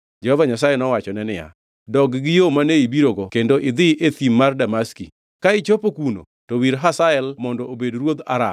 Jehova Nyasaye nowachone niya, “Dog gi yo mane ibirogo kendo idhi e thim mar Damaski. Ka ichopo kuno, to wir Hazael mondo obed ruodh Aram.